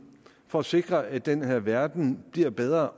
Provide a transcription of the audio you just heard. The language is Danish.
for at sikre at den her verden bliver bedre